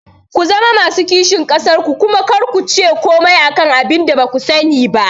Ku zama masu kishin ƙasar ku kuma kar kuce komai akan abinda baku sani ba